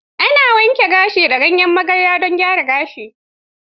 Ana wanke gashi da ganyen magarya don gyaran gashi.